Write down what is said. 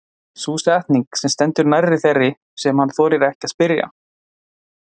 Sú setning stendur næst þeirri sem hann þorir ekki að spyrja.